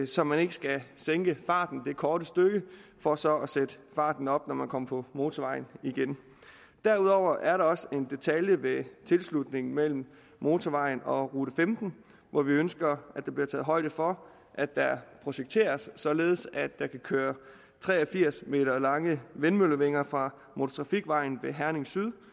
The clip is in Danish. så man ikke skal sænke farten det korte stykke for så at sætte farten op når man kommer på motorvejen igen derudover er der også en detalje ved tilslutningen mellem motorvejen og rute femten hvor vi ønsker at der bliver taget højde for at der projekteres således at tre og firs meter lange vindmøllevinger fra motortrafikvejen ved herning syd